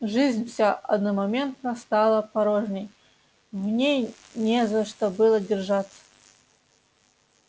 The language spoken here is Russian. жизнь вся одномоментно стала порожней в ней не за что было держаться